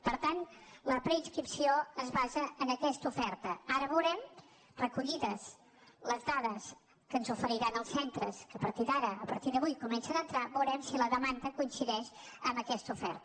per tant la preinscripció es basa en aquesta oferta ara recollides les dades que ens oferiran els centres que a partir d’avui comencen a entrar veurem si la demanda coincideix amb aquesta oferta